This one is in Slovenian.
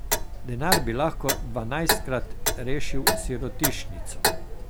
Denar bi lahko dvanajstkrat rešil sirotišnico.